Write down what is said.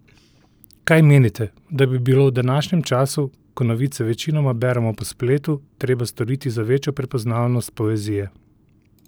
Kaj menite, da bi bilo v današnjem času, ko novice večinoma beremo po spletu, treba storiti za večjo prepoznavnost poezije?